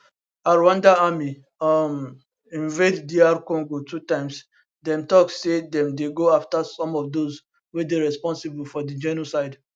rwanda army um invade dr congo two times dem tok say dem dey go afta some of those wey dey responsible for di genocide